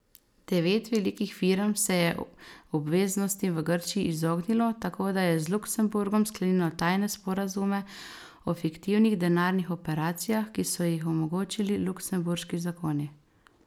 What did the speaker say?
Devet velikih firm se je obveznostim v Grčiji izognilo, tako da je z Luksemburgom sklenilo tajne sporazume o fiktivnih denarnih operacijah, ki so jih omogočili luksemburški zakoni.